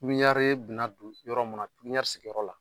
Pipiniyɛri bɛna don yɔrɔ min na pipiniyɛri sigiyɔrɔ la